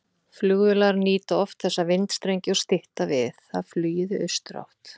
Flugvélar nýta oft þessa vindstrengi og stytta við það flugið í austurátt.